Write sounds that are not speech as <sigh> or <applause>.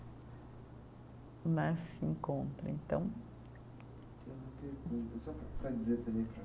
Né, se encontrem, então. Tenho uma pergunta <unintelligible> sabe dizer também